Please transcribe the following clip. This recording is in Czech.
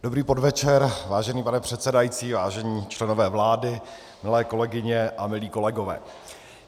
Dobrý podvečer, vážený pane předsedající, vážení členové vlády, milé kolegyně a milí kolegové.